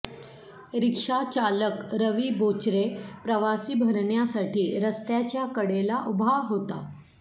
रिक्षाचालक रवी बोचरे प्रवासी भरण्यासाठी रस्त्याच्या कडेला उभा होता